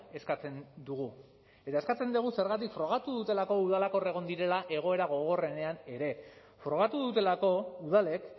eskatzen dugu eta eskatzen dugu zergatik frogatu dutelako udalak hor egon direla egoera gogorrenean ere frogatu dutelako udalek